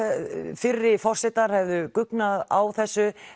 fyrri forsetar hefðu guggnað á þessu